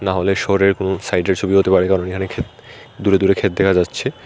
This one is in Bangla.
হলেশ্বরের কোনো সাইটের ছবি হতে পারে কারণ এহানে ক্ষেত দূরে দূরে ক্ষেত দেখা যাচ্ছে।